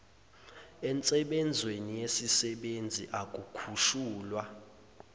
ensebenzweni yesisebenzi ukukhushulwa